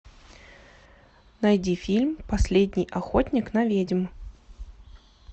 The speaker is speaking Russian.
найди фильм последний охотник на ведьм